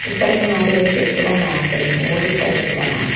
ഇപ്പറത്ത് മാറി ഒരു കെട്ടിടം കാണപ്പെടുന്നു ഓടിട്ട കെട്ടിടമാണ്.